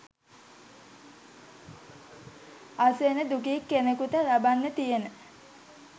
අසරණ දුගී කෙනෙකුට ලබන්න තියෙන